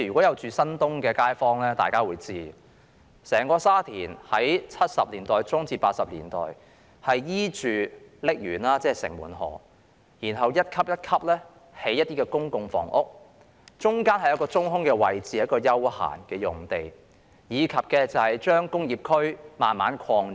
居住在新界東的街坊會知道，整個沙田的發展，是在1970年代中至1980年代，沿着瀝源，即城門河，一級一級地興建公共房屋，中間有一個中空位置，是一幅休憩用地，以及把工業區慢慢擴展。